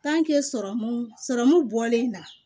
sɔrɔmu sɔrɔmu bɔlen na